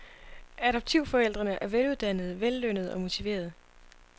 Adoptivforældrene er veluddannede, vellønnede og motiverede.